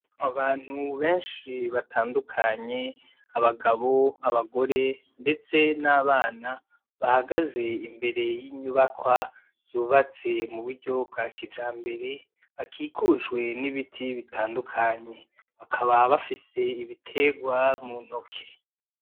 Abantu benshi batandukanye, abagabo, abagore ndetse n'abana, bahagaze imbere y'inyubakwa zubatswe muburyo bwa kijambere bakikujwe n'ibiti bitandukanye, bakaba bafise ibiterwa muntoke.